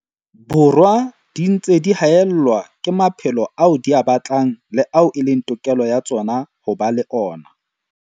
Borwa di ntse di haellwa ke maphelo ao di a batlang le ao e leng tokelo ya tsona ho ba le ona.